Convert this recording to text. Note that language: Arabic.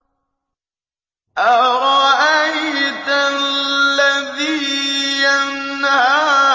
أَرَأَيْتَ الَّذِي يَنْهَىٰ